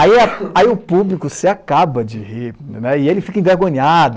Aí o público se acaba de rir, e ele fica envergonhado.